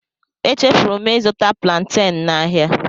Echefuru m ịzụta plaanten n'ahịa.